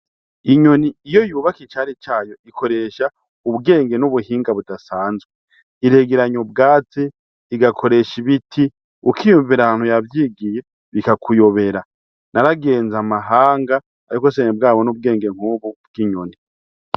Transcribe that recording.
Inyoni iyo yubaka icari cayo ikoresha ubwenge n'ubuhinga budasanzwe. Iregeranya ubwatsi, igakoresha ibiti, ukiyuvira aho yavyigiye bikakuyobera. Naragenze amahanga ariko sinari bwabone ubwenge nk'ubu bw'inyoni.